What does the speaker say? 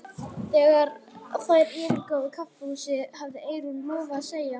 Þegar þær yfirgáfu kaffihúsið hafði Eyrún lofað að segja